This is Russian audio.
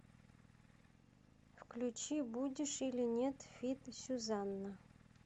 включи будешь или нет фит сюзанна